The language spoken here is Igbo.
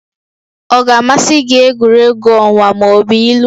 Ọ ga-amasị gị egwuregwu egwuregwu ọnwa ma ọ bụ ilu?